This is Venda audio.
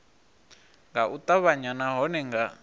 nga u ṱavhanya nahone nga